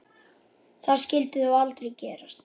Það skyldi þó aldrei gerast?